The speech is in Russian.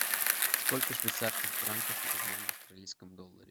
сколько швейцарских франков в одном австралийском долларе